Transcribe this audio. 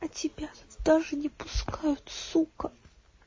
а тебя тоже не пускают сука